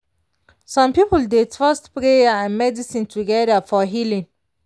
some people dey trust prayer and medicine together for healing.